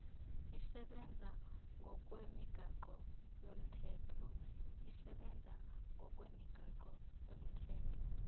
isebenza ngokwemigaqo yomthetho